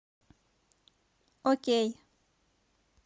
окей